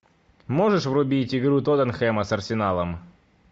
можешь врубить игру тоттенхэма с арсеналом